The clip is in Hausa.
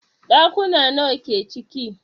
Ɗakuna nawa ke ciki?